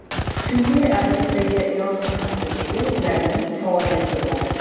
Chunki obyektdagi yong‘in xavfsizligi ularning faoliyatiga bog‘liq.